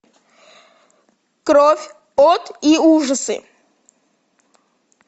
кровь от и ужасы